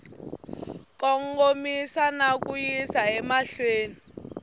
kongomisa na ku yisa emahlweni